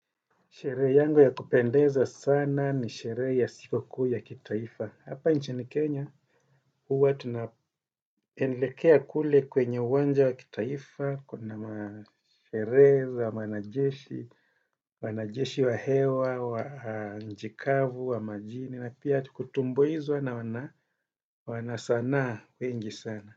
Sherehe yangu ya kupendeza sana ni sherehe ya siku kuu ya kitaifa. Hapa nchini Kenya, huwa tunaelekea kule kwenye uwanja wa kitaifa, kuna masherehe za wanajeshi, wanajeshi wa hewa, wa nchi kavu wa majini, na pia tu kutumbuizwa na wana wana sanaa wengi sana.